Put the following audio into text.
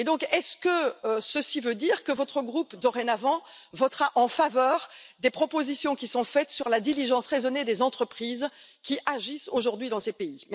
Est ce que cela veut dire que votre groupe votera dorénavant en faveur des propositions qui sont faites sur la diligence raisonnée des entreprises qui agissent aujourd'hui dans ces pays?